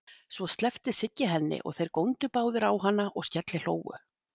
Svo sleppti Siggi henni og þeir góndu báðir á hana og skellihlógu.